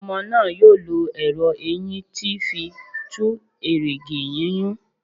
Ọmọ náà yóò lọ ẹrọ eyín tí fí tù erìgì yúnyún